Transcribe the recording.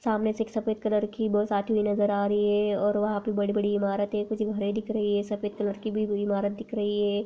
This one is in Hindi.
सामने से एक सफेद कलर की बस आती हुई नजर आ रही है और वहां पे बड़ी बड़ी इमारते कुछ दिख रही है सफेद कलर की भी इमारत दिख रही है।